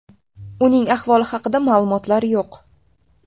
Uning ahvoli haqida ma’lumotlar yo‘q.